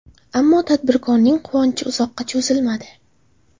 Ammo tadbirkorning quvonchi uzoqqa cho‘zilmadi.